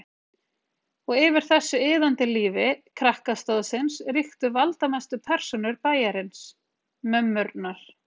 Og yfir þessu iðandi lífi krakkastóðsins ríktu valdamestu persónur bæjarins: MÖMMURNAR.